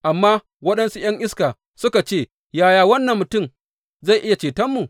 Amma waɗansu ’yan iska suka ce, Yaya wannan mutum zai iya cetonmu?